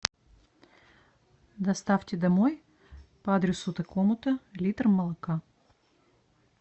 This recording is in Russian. доставьте домой по адресу такому то литр молока